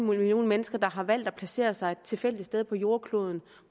millioner mennesker der har valgt at placere sig et tilfældigt sted på jordkloden